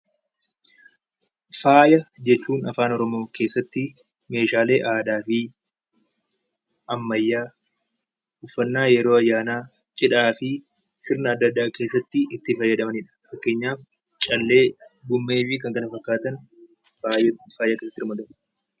Faaya jechuun afaan Oromoo keessatti meeshaalee aadaa fi ammayyaa, uffatnaa yeroo ayyaanaa, cidhaa fi sirna adda addaa keessatti itti fayyadamanidha. Fakeenyaaf callee, gommee fi kan kana fakkaatan faayatti ramadamu.